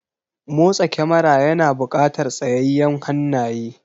Motsa kamara yana buƙatar tsayayyen hannaye.